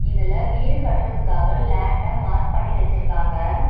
இதுல வீடு கட்றதுக்காக லேண்ட மார்க் பண்ணி வெச்சிருக்காங்க.